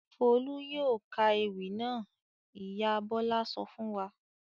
"Folú yóò ka ewì náà!" Ìyá Bọ̀lá sọ fún wa.